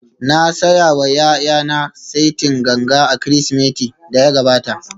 Na saya wa ’ya’yana saitin ganga a Kirsimetin da ya gabata